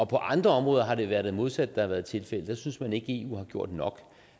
på andre områder har det været det modsatte der har været tilfældet der synes man ikke at eu har gjort nok